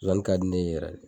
Zozani ka di ne ye yɛrɛ de.